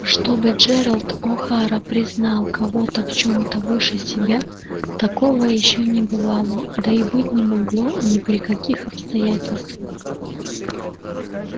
чтобы джералд охара признал кого-то в чём-то выше себя такого ещё не бывало да и быть не могло ни при каких обстоятельствах